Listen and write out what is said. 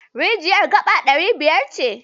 Rijiyar gaba ɗari biyar ce.